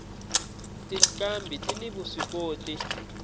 tinqambhi tini vuswikoti